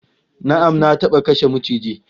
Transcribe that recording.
Na'am, Na taba kashe maciji